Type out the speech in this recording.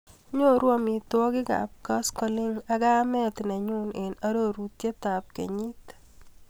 Nyoru amitwogikap koskoliny ak kamet nenyuu eng arorutab kenyit.